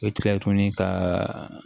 I bɛ tila tuguni ka